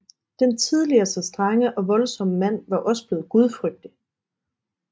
Den tidligere så strenge og voldsomme mand var også bleven gudfrygtig